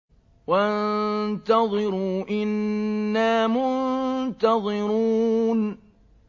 وَانتَظِرُوا إِنَّا مُنتَظِرُونَ